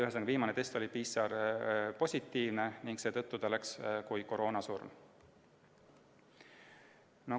Ühesõnaga, viimase testi põhjal oli ta PCR-positiivne ning seetõttu läks tema surm kirja koroonasurmana.